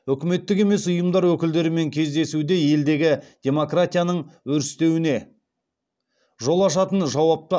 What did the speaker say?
үкіметтік емес ұйымдар өкілдерімен кездесуде елдегі демократияның өрістеуіне жол ашатын жауапты